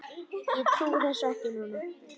Ég trúi þessu nú ekki!